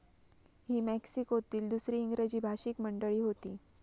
ही मेक्सिकोतील दुसरी इंग्रजी भाषिक मंडळी होती.